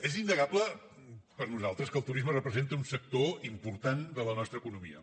és innegable per nosaltres que el turisme representa un sector important de la nostra economia